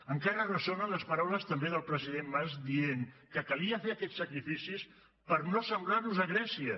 encara ressonen les paraules també del president mas que deia que calia fer aquests sacrificis per no assemblar nos a grècia